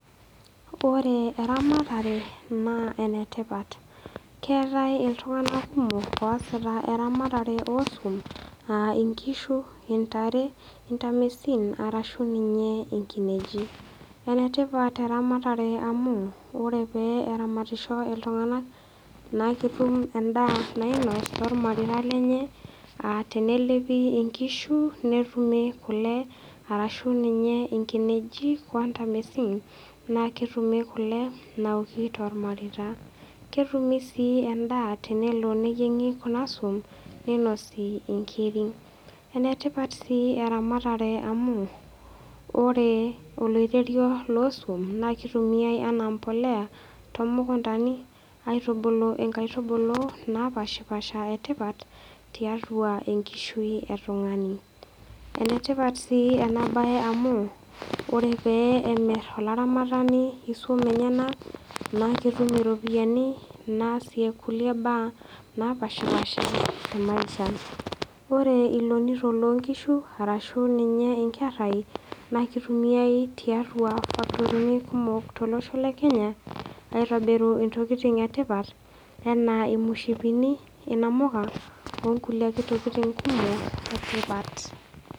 Ore eramatare, naa enetipat. Keatai iltung'ana kumok oasita eramatare osuan a inkishu, intare, intamisin arashu ninye inkinejik. Enetipat eramatare amu, ore pee eramatisho iltung'ana naa ketum endaa nainos tolmareita lenye a tenelepi inkishu, netumi kule arashu ninye inkinejik o ntamisin naa ketumi kule naoki tolmareita ketumi sii endaa tenelo neyieng'i kuna suan neinosi inkiri. Enetipat sii eramatare amu ore oloirerio loo suan naa keitumiai ana imbolea toomukundani, aitubulu inkaitubulu naapaashipaasha etipat tiatua enkishui e tung'ani. Enetipat sii ena bae amu ore pee emir olaramatani isuan enyena netum iropiani naasie kulie baa naapaashipaasha temaisha. Ore ilonito loo nkishu arashu ninye inkerai naa keitumiai tiatua factorini kumok tolosho le Kenya aitobirru intokitin e tipat anaa imushipini, inamuka o nkulie ake tokitin kumok e tipat.